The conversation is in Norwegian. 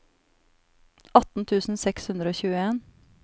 atten tusen seks hundre og tjueen